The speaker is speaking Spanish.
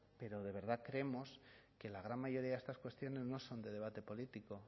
pero de verdad creemos que la gran mayoría de estas cuestiones no son de debate político